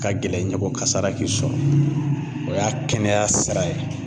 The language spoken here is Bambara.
Ka gɛlɛn ɲɛ ko kasara k'i sɔrɔ .O y'a kɛnɛya sira ye.